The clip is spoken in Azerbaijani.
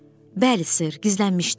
Bəli, ser, gizlənmişdim.